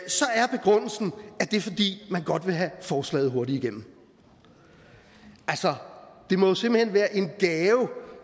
det er fordi man godt vil have forslaget hurtigt igennem altså det må jo simpelt hen være en gave